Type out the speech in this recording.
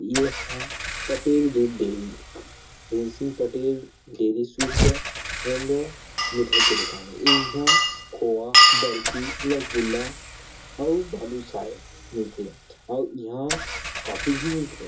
एह पटेल दूध डेरी टेन्सिल पटेल दूध डेरी सुस ह एंड मिठाई के दुकान हे इहां खोवा बर्फी रसगुल्ला अउ बालुसाये मिलथे अउ इहां कॉफी भी मिल थे।